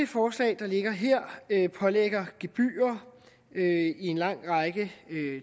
forslag der ligger her pålægger gebyrer i en lang række